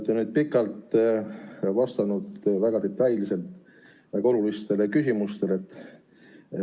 Te olete pikalt ja väga detailselt vastanud väga olulistele küsimustele.